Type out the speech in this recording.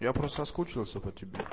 я просто соскучился по тебе